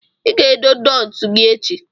Ị ga-ede nootu gị echi.